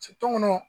kɔnɔ